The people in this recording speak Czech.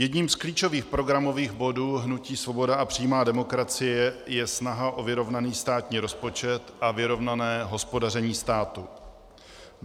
Jedním z klíčových programových bodů hnutí Svoboda a přímá demokracie je snaha o vyrovnaný státní rozpočet a vyrovnané hospodaření státu.